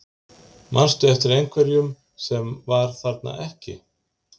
Manstu eftir einhverjum sem var þarna ekki?